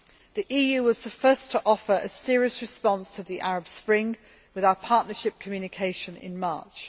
The EU was the first to offer a serious response to the Arab Spring, with our partnership communication in March